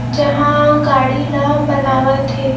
जहाँ गाड़ी ला बनावत हे।